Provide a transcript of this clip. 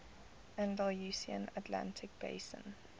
andalusian atlantic basin